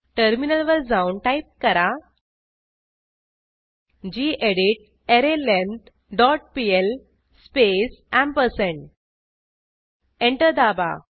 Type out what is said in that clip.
टर्मिनलवर जाऊन टाईप करा gedit array length dot PL space ampersand enter दाबा